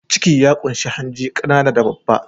Ciki ya ƙunshi hanji, ƙanana da babba.